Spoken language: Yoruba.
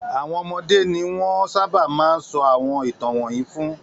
Àwọn ọmọdé ni wọ́n sábà máa ń sọ àwọn ìtàn wọ̀nyí fún.